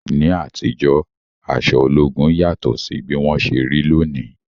Ní àtijọ́, aṣọ ológun yàtọ̀ sí bí wọ́n ṣe rí lónìí.